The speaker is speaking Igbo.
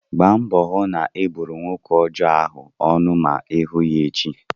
Gbaa mbọ hụ na ị buru nwoke ọjọọ ahụ ọnụ ma ị hụ ya echi!